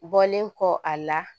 Bɔlen kɔ a la